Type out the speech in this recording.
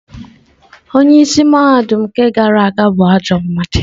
Onye isi mahadum nke gara aga bụ ajọ mmadụ.